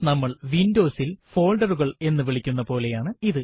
നമ്മൾ Windows ൽ folder കൾ എന്ന് വിളിക്കുന്ന പോലെയാണ് ഇത്